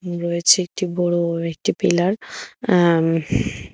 রয়েছে একটি বড় একটি পিলার অ্যা হ্।